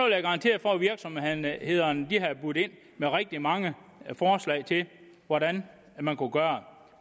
jeg garantere for at virksomhederne havde budt ind med rigtig mange forslag til hvordan man kunne gøre